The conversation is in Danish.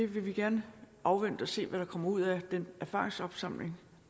vil vi gerne afvente at se hvad der kommer ud af den erfaringsopsamling